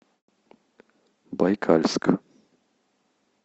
байкальск